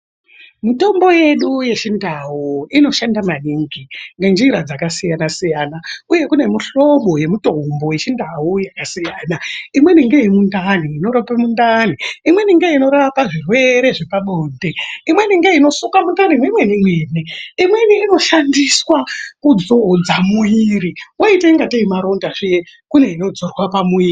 Mitombo yedu yechindau inoshanda maningi nenjira dzakasiyanasiyana, uye kune mihlobo ye mitombo yechindau yakasiyana imweni ngemundani inorapa mundani, imweni ngeinorapa zvirwere zvepabonde, imweni ngeino suke mundani mwemenemene, imweni inoshandiswa kudzodza muwiri waita kungatei maronda zve kune inodzorwa pamuviri.